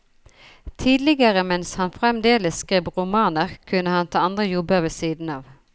Tidligere mens han fremdeles skrev romaner, kunne han ta andre jobber ved siden av.